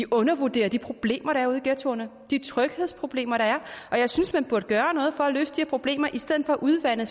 undervurderer de problemer der er ude i ghettoerne de tryghedsproblemer der er og jeg synes man burde gøre noget for at løse de her problemer i stedet for at udvande